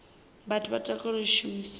vhathu vha takalela u shumisa